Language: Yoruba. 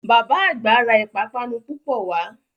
Bàbá àgbà ra ìpápánu púpọ̀ wá